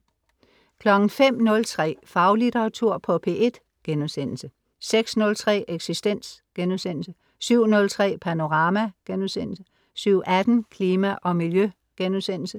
05.03 Faglitteratur på P1* 06.03 Eksistens* 07.03 Panorama* 07.18 Klima og Miljø*